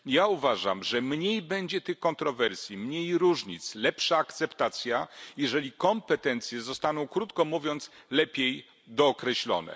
Uważam, że mniej będzie tych kontrowersji, mniej różnic, lepsza akceptacja, jeżeli kompetencje zostaną krótko mówiąc lepiej dookreślone.